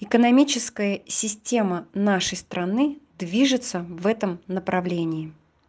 экономическая система нашей страны движется в этом направлении